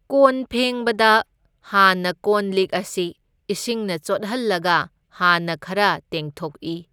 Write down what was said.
ꯀꯣꯟ ꯐꯦꯡꯕꯗ ꯍꯥꯟꯅ ꯀꯣꯟ ꯂꯤꯛ ꯑꯁꯤ ꯏꯁꯤꯡꯅ ꯆꯣꯠꯍꯜꯂꯒ ꯍꯥꯟꯅ ꯈꯔ ꯇꯦꯡꯊꯣꯛꯏ꯫